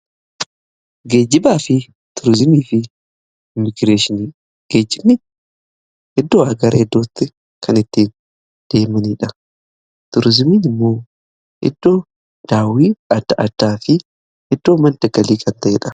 Geejibaa fi turizimii fi imiigreeshinii, geejjibni iddoodhaa gara iddootti kan ittiin deemaniidha. Turizimiin immoo iddoo daawwii adda addaa fi iddoo madda galii kan ta'edha.